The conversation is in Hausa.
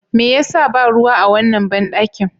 Me ya sa ba ruwa a wannan banɗakin?